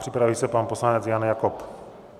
Připraví se pan poslanec Jan Jakob.